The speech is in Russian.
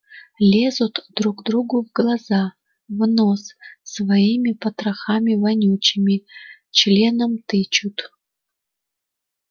лезут друг другу в глаза в нос своими потрохами вонючими членом тычут